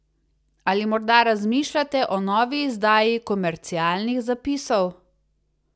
Ali morda razmišljate o novi izdaji komercialnih zapisov?